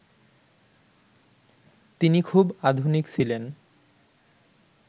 তিনি খুব আধুনিক ছিলেন